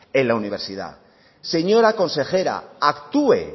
en la universidad señora consejera actué